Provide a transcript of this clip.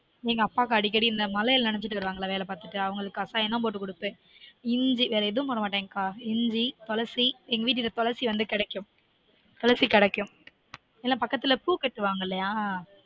எங்க அப்பாக்கு அடிக்கடி இந்த மழைல நெனஞ்சுட்டு வருவாங்களா வேல பாத்துட்டு அவங்களுக்கு கசாயம் தான் போட்டு குடுப்பன் இஞ்சி வேற எதுவும் போடமாட்டன் கா இஞ்சி துலசி எங்க வீட்டு கிட்ட துலசி வந்து கிடைக்கும் துலசி கிடைக்கும் ஏன்னா பக்கத்துல பூ கெட்டுவாங்க இல்லயா